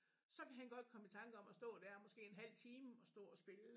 Så kan han godt komme i tanke om at stå der måske en halv time og stå og spille